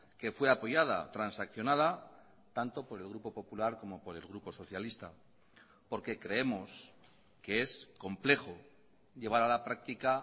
que fue apoyada transaccionada tanto por el grupo popular como por el grupo socialista porque creemos que es complejo llevar a la práctica